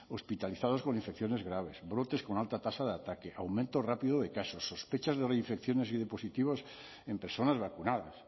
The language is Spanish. hospitalizados con infecciones graves brotes con alta tasa de ataque aumento rápido de casos sospechas de reinfecciones y de positivos en personas vacunadas